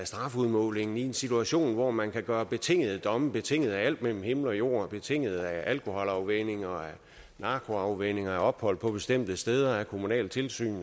strafudmålingen i en situation hvor man kan gøre betingede domme betinget af alt mellem himmel og jord betinget af alkoholafvænning narkoafvænning ophold på bestemte steder kommunalt tilsyn